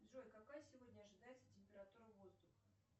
джой какая сегодня ожидается температура воздуха